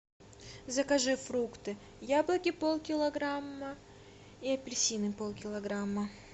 закажи фрукты яблоки полкилограмма и апельсины полкилограмма